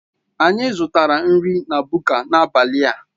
Anyị zụtara nri n'aka Buka n'abalị a.